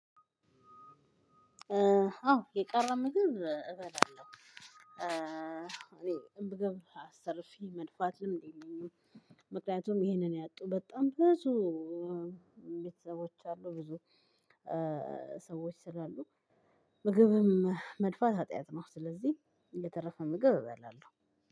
አዎ የቀረም እበላለሁ። እኔ ምግብ አስተርፌ መድፋት ልምድ የለኝም ምክንያቱም ይሄንን ያጡ በጣም ብዙ ቤተሰቦች አሉ ብዙ ሰዎች ስላሉ ምግብም መድፋት ሀጢያት ነው ስለዚህ የተረፈ ምግብ እበላለሁ።